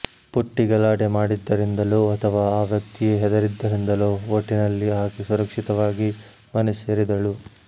ಪುಟ್ಟಿ ಗಲಾಟೆ ಮಾಡಿದ್ದರಿಂದಲೋ ಅಥವಾ ಆ ವ್ಯಕ್ತಿಯೇ ಹೆದರಿದ್ದರಿಂದಲೋ ಒಟ್ಟಿನಲ್ಲಿ ಆಕೆ ಸುರಕ್ಷಿತವಾಗಿ ಮನೆ ಸೇರಿದಳು